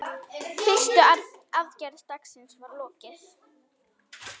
Fyrstu aðgerð dagsins var lokið.